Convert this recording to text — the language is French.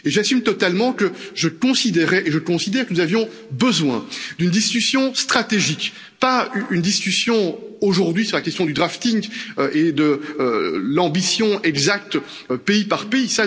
J'assume totalement que je considérais et je considère que nous avions besoin d'une discussion stratégique, pas d'une discussion aujourd'hui sur la question du drafting et de l'ambition exacte pays par pays.